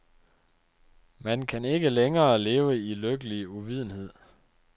Man kan ikke længere leve i lykkelig uvidenhed.